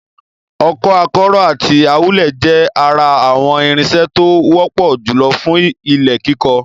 Ọkọ́, akọ́rọ́ àti awúlẹ̀ jẹ́ ara àwọn irinṣẹ́ tó wọ́pọ̀ jùlọ fún ilẹ̀ kíkọ.